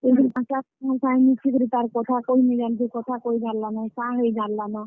ଯେଇ କରି ପାଞ୍ଚଟା ସାଙ୍ଗେ ମିଶି କରି ତାର୍ କଥା କହି ନେଇ ଜାନୁଥେଇ, କଥା କହି ଜାନ୍ ଲାନ, ସାଙ୍ଗ ହେଇ ଜାନ୍ ଲାନ।